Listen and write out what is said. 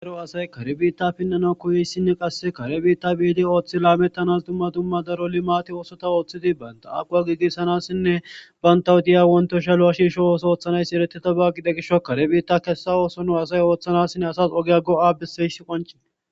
Daro asay karibita pinnana koyeyssinne qasse karibita biidi ooththi laamettanas dumma dumma daroli maati oosota ooththidi baynta aqwa giigissanassinne bayntawu diya wontoshaluwa shiirsho ooso ooththanayss eretito baa gide gisho karibita kessa ooso nu asay ooththanassinne asas ogya go'a biseyss qonci